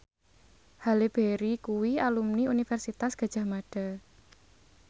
Halle Berry kuwi alumni Universitas Gadjah Mada